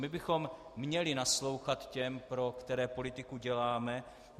My bychom měli naslouchat těm, pro které politiku děláme.